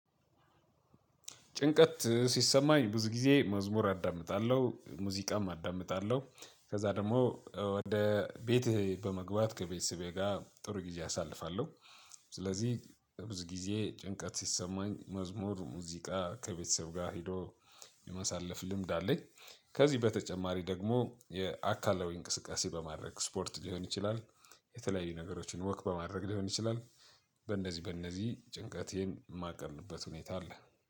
ጭንቀት ሲሰማኝ ብዙ ጊዜ መዝሙር አዳምጣለሁ ሙዚቃም አዳምጣለሁ ከዛ ደግሞ ወደ ቤቴ በመግባት ከቤተሰቤ ጋር ጥሩ ጊዜ አሳልፋለሁ። ስለዚህ በብዙ ጊዜ ጭንቀት ሲሰማኝ መዝሙር ሙዚቃ ከቤተሰብ ጋር ሄዶ የማሳለፍ ልምድ አለኝ። ከዚህ በተጨማሪ ደግሞ የአካላዊ እንቅስቃሴ በማድረግ ስፖርት ሊሆን ይችላል። የተለያዩ ነገሮችን ወክ በማድረግ ሊሆን ይችላል። በእነዚህ በእነዚህ ጭንቀቴን የማቀልበት ሁኔታ አለ